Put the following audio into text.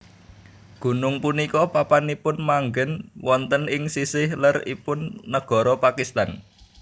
Gunung punika papanipun manggen wonten ing sisih ler ipun nagara Pakistan